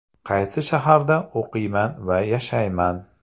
Qaysi shaharda o‘qiyman va yashayman?